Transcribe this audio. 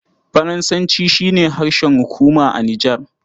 Faransanci shi ne harshen hukuma a Nijar.